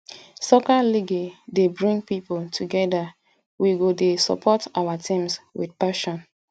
soccer league dey bring people together we go dey support our teams with passion